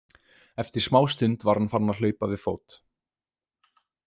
Eftir smástund var hann farinn að hlaupa við fót.